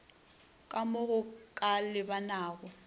ka mo go ka lebanago